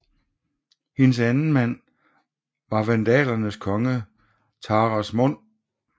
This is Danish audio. Hendes anden mand var vandalernes konge Thrasamund